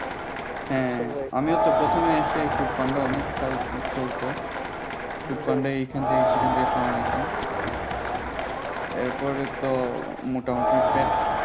হ্যাঁ আমিও তো প্রথমে এসে food panda অনেক চালু চলতো panda এর এইখান থেকে সেইখান থেকে খাওয়ার নিতাম এরপরে তো মোটামোটি পেট